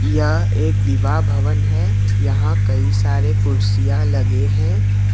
यह एक विवाह भवन है यहां कई सारे कुर्सियां लगे हैं।